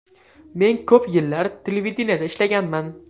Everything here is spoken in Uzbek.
Men ko‘p yillar televideniyeda ishlaganman.